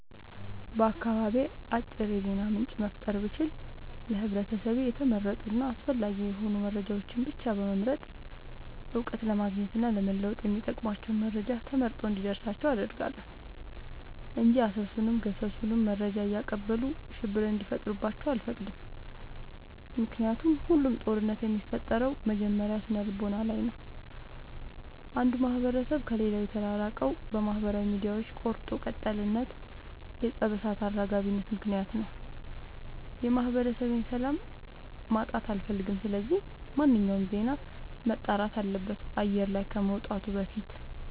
በአካባቢዬ አጥሩ የዜና ምንጭ መፍጠር ብችል ለህብረተሰቤ የተመረጡ እና አስፈላጊ የሆኑ መረጃዎችን ብቻ በመምረጥ እውቀት ለማግኘት እና ለመወጥ የሚጠቅሟቸውን መረጃ ተመርጦ እንዲደርሳቸው አደርጋለሁ። እንጂ አሰሱንም ገሰሱንም መረጃ እያቀበሉ ሽብር እንዲፈጥሩባቸው አልፈቅድም ምክንያቱም ሁሉም ጦርነት የሚፈጠረው መጀመሪያ ስነልቦና ላይ ነው። አንዱ ማህበረሰብ ከሌላው የተራራቀው በማህበራዊ ሚዲያዎች ቆርጦ ቀጥልነት የፀብ እሳት አራጋቢነት ምክንያት ነው። የማህበረሰቤን ሰላም ማጣት አልፈልግም ስለዚህ ማንኛውም ዜና መጣራት አለበት አየር ላይ ከመውጣቱ በፊት።